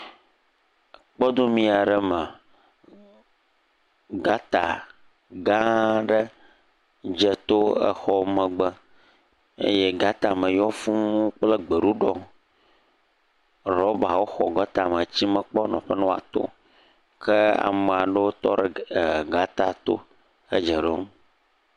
Kpɔdomi aɖe me. Gɔta gã aɖe dze to exɔ megbe eye gɔta me yɔ fu kple gbeɖuɖɔ. Ɖɔbawo xɔ gɔta me tsi mekpɔ nɔƒe ne woato o. Ke ame aɖewo tɔ ɖe ga e gɔta to he dze ɖom.